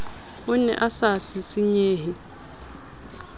o ne a sa sisinyehe